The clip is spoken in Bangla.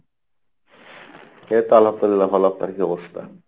এইতো আল্লহাম দুল্লিয়াহ ভালো, আপনার কী অবস্থা?